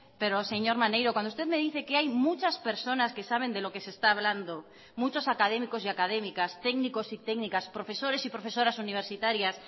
pero señor maneiro cuando usted me dice que hay muchas personas que saben de lo que se está hablando muchos académicos y académicas técnicos y técnicas profesores y profesoras universitarias